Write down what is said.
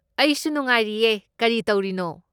ꯑꯩꯁꯨ ꯅꯨꯡꯉꯥꯏꯔꯤꯌꯦ꯫ ꯀꯔꯤ ꯇꯧꯔꯤꯅꯣ?